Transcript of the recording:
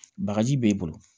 Bagaji b'e bolo